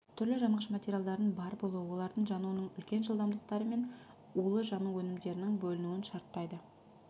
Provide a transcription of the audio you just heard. түрлі жанғыш материалдардың бар болуы олардың жануының үлкен жылдамдықтары мен улы жану өнімдерінің бөлінуін шарттайды